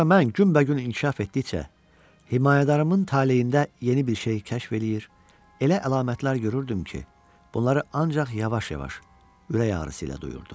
Buna görə mən günbəgün inkişaf etdikcə, himayədarımın taleyində yeni bir şey kəşf eləyir, elə əlamətlər görürdüm ki, bunları ancaq yavaş-yavaş ürək ağrısıyla duyurdum.